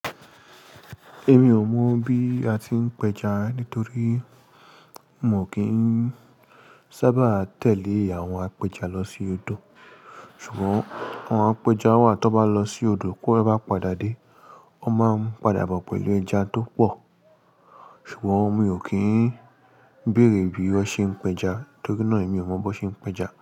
Èmi ò mọ̀ bí a tí ń péja nítorí mò kí ń sábà tẹ̀lé àwọn apẹja lọ sí odò. Ṣùgbọ́n àwọn apẹja wà to bá lọ sí odò ki won bá padà dé, wọ́n máa ń padà bọ̀ pẹ̀lú ẹja tó pọ̀. Ṣùgbọ́n mi ò kí ń béèrè bí wọ́n ṣe ń péja, torí náà èmi ò mọ̀ bó ṣe ń péja.